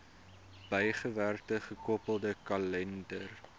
bygewerkte gekoppelde kalender